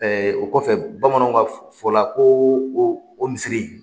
o kɔfɛ bamananw ka fɔ la ko o o misiri in